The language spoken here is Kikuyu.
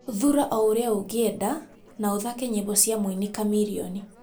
thuura o ũrĩa ũgĩenda na ũthake nyĩmbo cia mũini chameleon